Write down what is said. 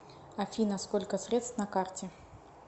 афина сколько средств на карте